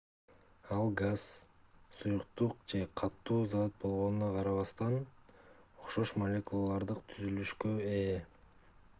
ал газ суюктук же катуу зат болгонуна карабастан окшош молекулярдык түзүлүшкө ээ